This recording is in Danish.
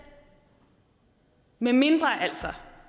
medmindre altså